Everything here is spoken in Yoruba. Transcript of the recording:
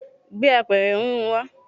gbé apẹ̀rẹ̀ híhun wa